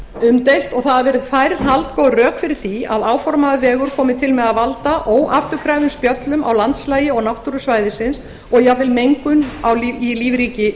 umdeilt og það hafa verið færð haldgóð rök fyrir því að áformaður vegur komi til með að valda óafturkræfum spjöllum á landslagi og náttúru svæðisins og jafnvel mengun í lífríki